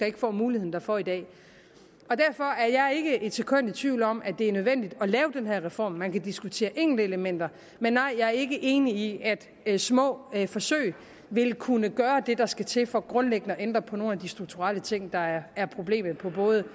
ikke får muligheden derfor i dag derfor er jeg ikke et sekund i tvivl om at det er nødvendigt at lave den her reform man kan diskutere enkeltelementer men nej jeg er ikke enig i at små forsøg vil kunne gøre det der skal til for grundlæggende at ændre på nogle af de strukturelle ting der er er problemet på både